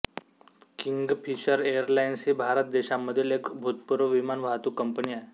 Kingfisher Airlines ही भारत देशामधील एक भूतपूर्व विमान वाहतूक कंपनी आहे